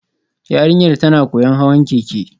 Yarinyar tana koyon hawan keke